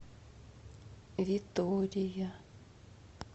витория